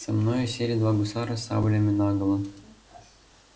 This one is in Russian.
со мною сели два гусара с саблями наголо